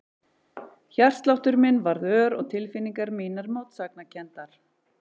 Hjartsláttur minn varð ör og tilfinningar mínar mótsagnakenndar.